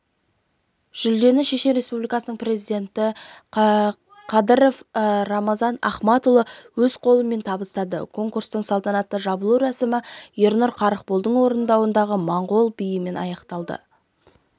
жүлдені шешен республикасының президенті қадыров рамзан ахматұлы өз қолымен табыстады конкурстың салтанатты жабылу рәсімі ернұр қарықболдың орындауындағы моңғол биімен аяқталды